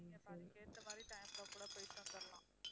நாம அதுக்கு ஏத்த மாதிரி time ல கூட போயிட்டு வந்துடலாம்